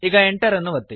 ಈಗ Enter ಅನ್ನು ಒತ್ತಿ